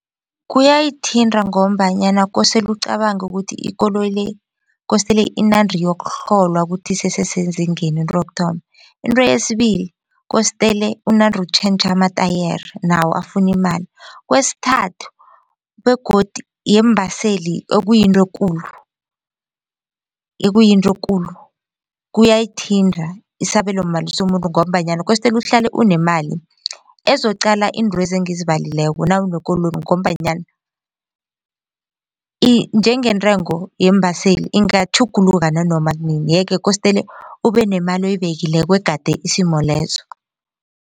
Kuyayithinta ngombanyana kosele ucabange ukuthi ikoloyi le kosele inande iyokuhlolwa kuthi isese sezingeni into yokuthoma. Into yesibili kostele unande utjhentjha amatayere nawo afuna imali. Kwesithathu begodu yeembaseli okuyinto ekulu ekuyinto ekulu kuyayithinta isabelomali somuntu ngombanyana kostele uhlale unemali ezoqala iintwezi engizibalileko nawunekoloyi ngombanyana njengentengo yeembaseli ingatjhuguluka nanoma kunini yeke kosele ube nemali oyibekileko egade isimo lezo.